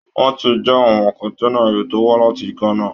Wọn ti já àwọn kọ̀ǹténà ẹrù tó wá láti Ghana